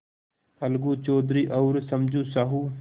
अलगू चौधरी और समझू साहु